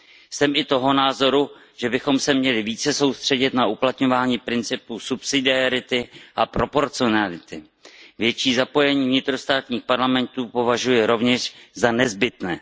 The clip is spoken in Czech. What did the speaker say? Jsem i toho názoru, že bychom se měli více soustředit na uplatňování principu subsidiarity a proporcionality. Větší zapojení vnitrostátních parlamentů považuji rovněž za nezbytné.